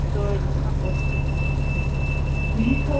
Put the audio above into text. с того дня после митинга